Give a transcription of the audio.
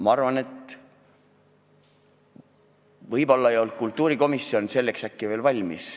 Ma arvan, et võib-olla ei olnud kultuurikomisjon selleks veel valmis.